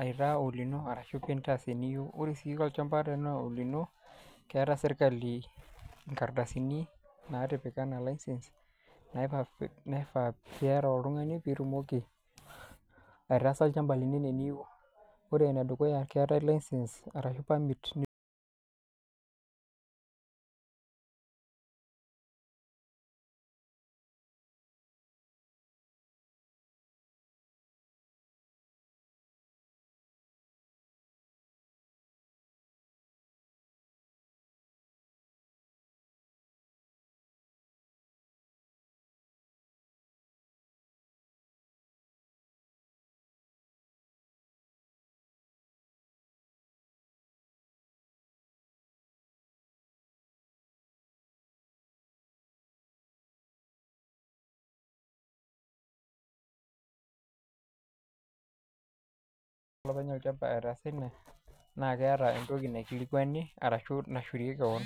aitaa olino ashu intaa eniyou. Ore sii olchamba teniyou nintaa olino, keata serkali inkardasini naatiipika anaa license naifaa piata oltung'ani pee itumoki aitaasa olchamba lino anaa eniyou. Ore ene dukuya keatai license cs]arashu permit olopeny olchamba eata esile arashu entoki naikilikwani, arashu nashuirie kewon.